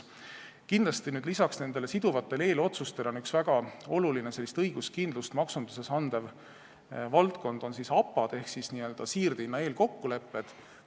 Kindlasti on lisaks nendele siduvatele eelotsustele üks väga olulisi maksunduses õiguskindlust andvaid valdkondi APA-d ehk siirdehinna eelkokkulepped.